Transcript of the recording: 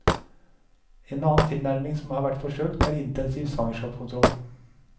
En annen tilnærming som har vært forsøkt, er intensiv svangerskapskontroll.